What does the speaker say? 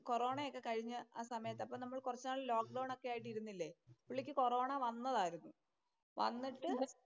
കൊറോണയൊക്കെ കഴിഞ്ഞ് ആ സമയത്ത് കൊറച്ചുനാൾ ലോക്ക്ഡൌണ്‍ ഒക്കെ ആയിട്ട് ഇരുന്നില്ലേ. പുള്ളിക്ക് കൊറോണ വന്നതായിരുന്നു. വന്നിട്ട്